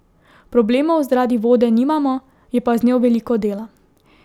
Problemov zaradi vode nimamo, je pa z njo veliko dela.